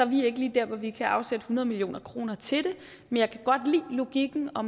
vi ikke lige der hvor vi kan afsætte hundrede million kroner til det men jeg kan godt lide logikken og